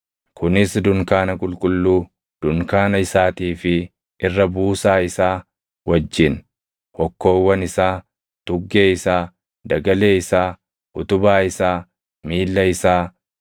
“Kunis dunkaana qulqulluu dunkaana isaatii fi irra buusaa isaa wajjin, hokkoowwan isaa, tuggee isaa, dagalee isaa, utubaa isaa, miilla isaa,